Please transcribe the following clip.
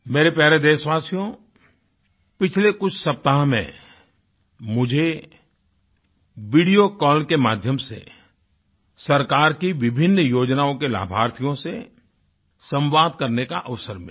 मेरे प्यारे देशवासियो पिछले कुछ सप्ताह में मुझे वीडियो कॉल के माध्यम से सरकार की विभिन्न योजनाओं के लाभार्थियों से संवाद करने का अवसर मिला